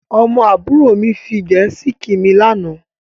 Ọmọ àbúrò mi fi Gẹ̀ẹ́sì kí mi lànà